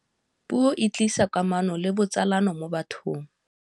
Puo e tlisa kamano le botsalano mo bathong.